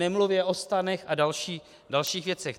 Nemluvě o stanech a dalších věcech.